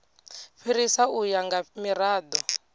fhirisa u ya nga mirado